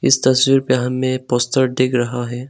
इस तस्वीर पे हमें पोस्टर दिख रहा है।